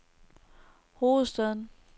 hovedstaden